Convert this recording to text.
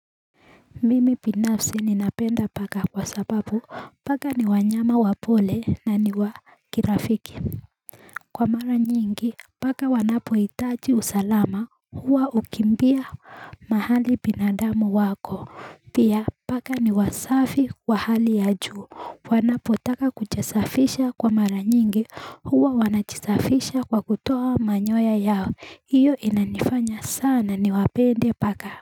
Mimi binafsi ninapenda paka kwa sababu paka ni wanyama wapole na ni wakirafiki Kwa mara nyingi paka wanapoitaji usalama huwa ukimbia mahali binadamu wako Pia paka ni wasafi kwa hali ya juu wanapotaka kuchesafisha kwa mara nyingi huwa wanachisafisha kwa kutoa manyoya yao iyo inanifanya sana ni wapende paka.